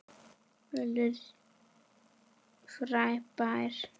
Völlur frábær.